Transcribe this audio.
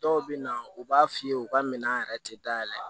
Dɔw bɛ na u b'a f'i ye u ka minɛn yɛrɛ tɛ da yɛlɛ